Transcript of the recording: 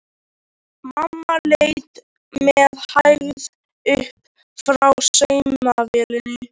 Mamma leit með hægð upp frá saumavélinni.